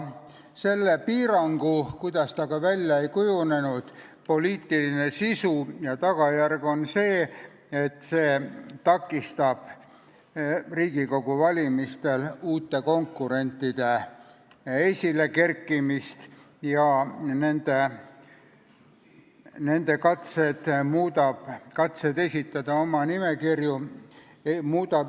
Selle piirangu – kuidas ta ka välja ei kujunenud – poliitiline sisu ja tagajärg on selline, et see takistab Riigikogu valimistel uute konkurentide esilekerkimist ja muudab ülimalt keeruliseks nende katsed esitada oma nimekirju.